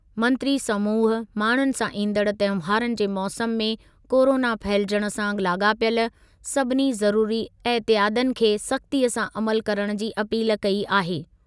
मंत्री समूह माण्हुनि सां ईंदड़ तहिंवारनि जे मौसमु में कोरोना फहिलजण सां लाॻापियल सभिनी ज़रुरी एहतियातनि ते सख़्तीअ सां अमलु करणु जी अपील कई आहे।